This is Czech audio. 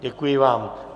Děkuji vám.